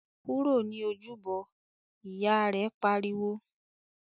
"Kúrò ní Ojúbọ!", Ìyá rẹ̀ pariwo